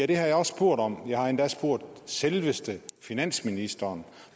det har jeg også spurgt om jeg har endda spurgt selveste finansministeren